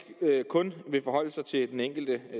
kun vil forholde sig til den enkelte